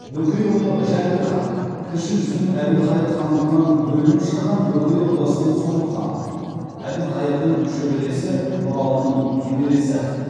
бөкейұлы жәңгір хан кіші жүздің әбілқайыр хандығынан бөлініп шыққан бөкей ордасының соңғы ханы әбілқайырдың шөбересі нұралының немересі